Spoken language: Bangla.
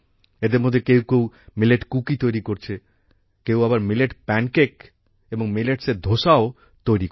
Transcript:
এদের মধ্যে কেউ কেউ মিলেট কুকি তৈরি করছে কেউ আবার মিলেট প্যানকেক এবং মিলেটসের ধোসাও তৈরি করছে